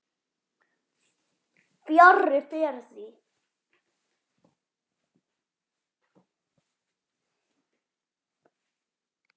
Fjarri fer því.